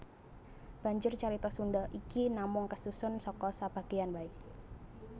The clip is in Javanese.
Banjur carita Sunda iki namung kasusun saka sabagéyan waé